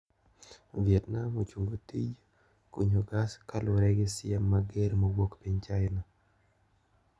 Vietnam ochungo tij kunyo gas kalure gi siem mager mowuok piny China.